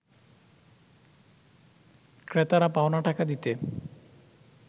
ক্রেতারা পাওনা টাকা দিতে